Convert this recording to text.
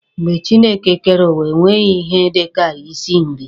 Mgbe Chineke kere uwa, e nweghi ihe dika ịsị nri.